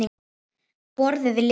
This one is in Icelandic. Borðið lesið.